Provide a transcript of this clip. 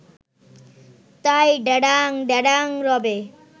তাই ড্যাডাং ড্যাডাং রবে